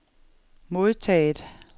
modtaget